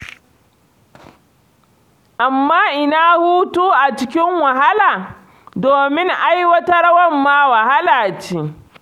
Amma ina hutu a cikin wahala, domin ai wata rawar ma wahala ce.